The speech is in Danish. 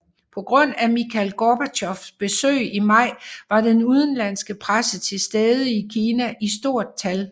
På grund af Mikhail Gorbatjovs besøg i maj var den udenlandske presse til stede i Kina i stort tal